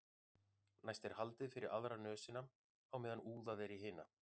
næst er haldið fyrir aðra nösina á meðan úðað er í hina